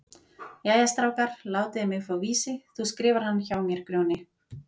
Jæja strákar, látiði mig fá Vísi, þú skrifar hann hjá mér Grjóni.